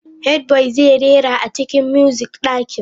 Headboy zai rera a cikin music dakin.